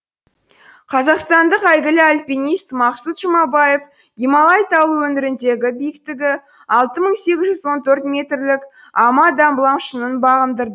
қазақстандық әйгілі альпинист мақсұт жұмаев гималай таулы өңіріндегі биіктігі алты мың сегіз жүз он төрт метрлік ама даблам шыңын бағындырды